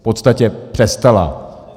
V podstatě přestala.